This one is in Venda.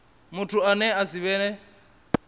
muthu ane a si vhe